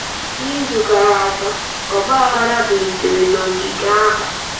Izu gara aga, ọgbaghara bilitere n’ogige ahụ.